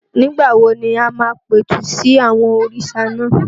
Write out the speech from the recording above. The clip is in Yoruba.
Nígbà wo ni o máa pẹ̀tù sí àwọn òrìṣà náà?